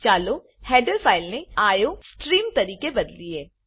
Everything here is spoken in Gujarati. ચાલો હેડર ફાઇલ હેડર ફાઈલ ને આઇઓસ્ટ્રીમ આઈઓ સ્ટીરીમ તરીકે બદલીએ